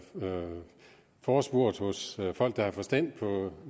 forespurgt hos folk der har forstand på